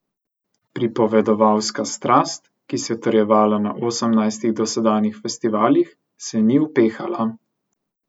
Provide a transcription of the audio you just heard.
Pripovedovalska strast, ki se je utrjevala na osemnajstih dosedanjih festivalih, se ni upehala.